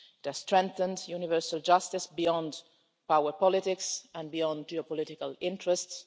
It has strengthened universal justice beyond power politics and beyond geopolitical interests.